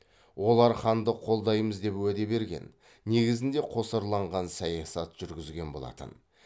олар ханды қолдаймыз деп уәде берген негізінде қосарланған саясат жүргізген болатын